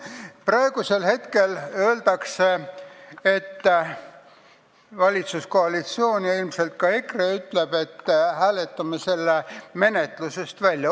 Praegu ütlevad valitsuskoalitsioon ja ilmselt ka EKRE, et hääletame selle eelnõu menetlusest välja.